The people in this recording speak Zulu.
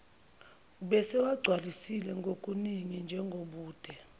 ubesewagcwalisile kokuningi njengobude